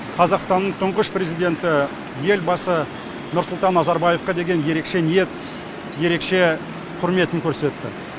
қазақстанның тұңғыш президенті елбасы нұрсұлтан назарбаевқа деген ерекше ниет ерекше құрметін көрсетті